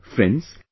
Friends,